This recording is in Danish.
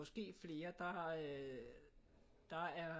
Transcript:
Måske flere der har øh der er